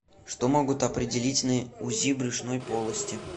что могут определить на узи брюшной полости